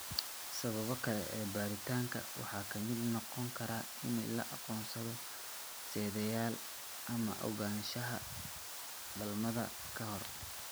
Sababaha kale ee baaritaanka waxaa ka mid noqon kara in la aqoonsado sidayaal ama ogaanshaha dhalmada ka hor.